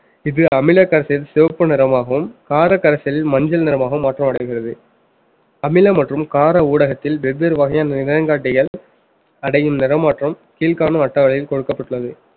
இது அமிலக்கரைசலில் சிவப்பு நிறமாகவும் காரக் கரைசலில் மஞ்சள் நிறமாக மாற்றம் அடைகிறது அமிலம் மற்றும் கார ஊடகத்தில் வெவ்வேறு வகையான நிறங்காட்டிகள் அடையும் நிறமாற்றம் கீழ்காணும் அட்டவணையில் கொடுக்கப்பட்டுள்ளது